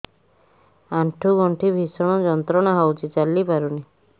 ଆଣ୍ଠୁ ଗଣ୍ଠି ଭିଷଣ ଯନ୍ତ୍ରଣା ହଉଛି ଚାଲି ପାରୁନି